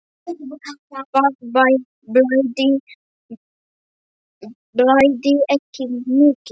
Það blæddi ekki mikið.